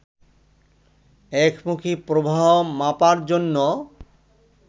একমুখী প্রবাহ মাপার জন্য